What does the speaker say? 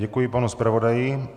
Děkuji panu zpravodaji.